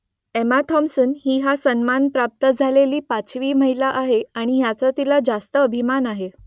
Emma Thompson ही हा सन्मान प्राप्त झालेली पाचवी महिला आहे आणि याचा तिला रास्त अभिमान आहे